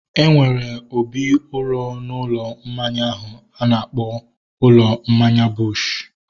Enwere obi uro n'ụlọ mmanya ahu a na-akpọ ụlọ mmanya Bush